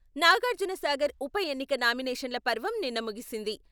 నాగార్జునసాగర్ ఉప ఎన్నిక నామినేషన్ల పర్వం నిన్న ముగిసింది.